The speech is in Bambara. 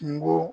Kungo